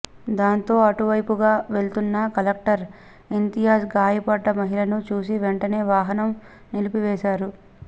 దీంతో అటువైపుగా వెళ్తున్న కలెక్టర్ ఇంతియాజ్ గాయపడ్డ మహిళని చూసి వెంటనే వాహనం నిలిపివేశారు